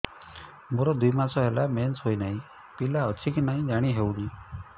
ମୋର ଦୁଇ ମାସ ହେଲା ମେନ୍ସେସ ହୋଇ ନାହିଁ ପିଲା ଅଛି କି ନାହିଁ ଜାଣି ହେଉନି